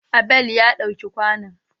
Abel ya ɗau ke kwanon.